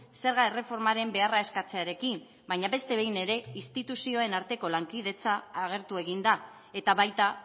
zerga erreformaren beharra eskatzearekin baina beste behin ere instituzioen arteko lankidetza agertu egin da eta baita